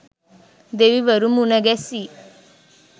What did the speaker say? දෙවිවරු මුණ ගැසී